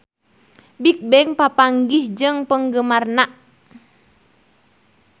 Bigbang papanggih jeung penggemarna